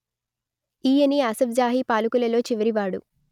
ఈయనే అసఫ్ జాహీ పాలకులలో చివరివాడు